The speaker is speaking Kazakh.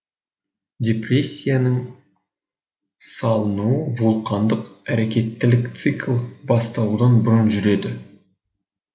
депрессияның салынуы вулкандық әрекеттілік цикл басталудан бұрын жүреді